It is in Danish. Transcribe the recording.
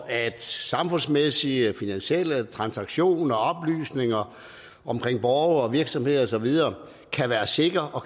at samfundsmæssige og finansielle transaktioner og oplysninger om borgere og virksomheder og så videre er sikre og